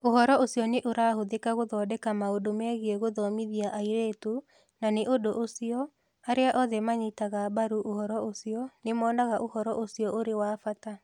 Ũhoro ũcio ũrahũthĩka gũthondeka maũndũ megiĩ gũthomithia airĩtu, na nĩ ũndũ ũcio, arĩa othe manyitaga mbaru ũhoro ũcio nĩ monaga ũhoro ũcio ũrĩ wa bata.